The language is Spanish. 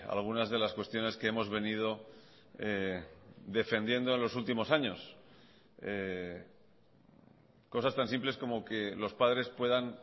algunas de las cuestiones que hemos venido defendiendo en los últimos años cosas tan simples como que los padres puedan